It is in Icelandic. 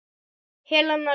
Helena Lind.